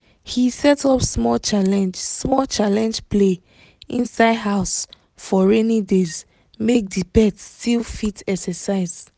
he set up small challenge small challenge play inside house for rainy days make the pet still fit exercise